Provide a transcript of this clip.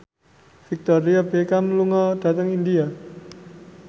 Victoria Beckham lunga dhateng India